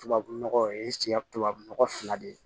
Tubabunɔgɔ o ye tubabu nɔgɔ fila de ye